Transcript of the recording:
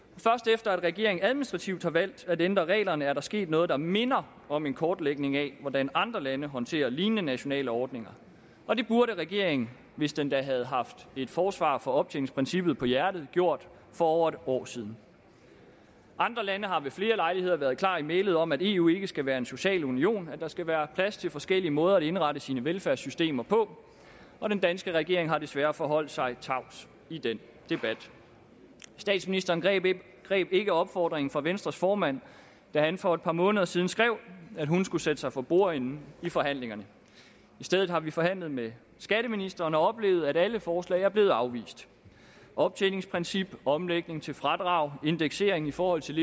efter at regeringen administrativt har valgt at ændre reglerne er der sket noget der minder om en kortlægning af hvordan andre lande håndterer lignende nationale ordninger og det burde regeringen hvis den da havde haft et forsvar for optjeningsprincippet på hjertet gjort for over et år siden andre lande har ved flere lejligheder været klar i mælet om at eu ikke skal være en social union at der skal være plads til forskellige måder at indrette sine velfærdssystemer på og den danske regering har desværre forholdt sig tavs i den debat statsministeren greb greb ikke opfordringen fra venstres formand da han for et par måneder siden skrev at hun skulle sætte sig for bordenden i forhandlingerne i stedet har vi forhandlet med skatteministeren og oplevet at alle forslag er blevet afvist optjeningsprincip omlægning til fradrag indeksering i forhold til